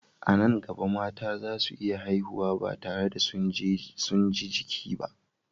A nan gaba, mata za su iya haihuwa ba tare da sun ji jiki ba.